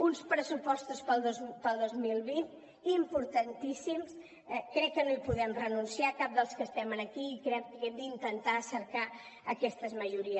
uns pressupostos pel dos mil vint importantíssims crec que no hi podem renunciar cap dels que estem aquí i crec que hem d’intentar cercar aquestes majories